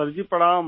sir ji प्रणाम